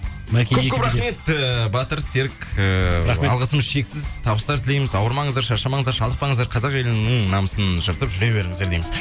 көп көп рахмет ііі батыр серік ііі рахмет алғысымыз шексіз табыстар тілейміз ауырмаңыздар шаршамаңыздар шалдықпаңыздар қазақ елінің намысын жыртып жүре беріңіздер дейміз